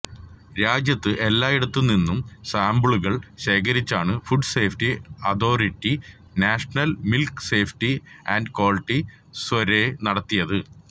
രാജ്യത്ത് എല്ലായിടത്തുനിന്നും സാംപിളുകള് ശേഖരിച്ചാണ് food safety authority national milk safety and quality survey നടത്തിയത്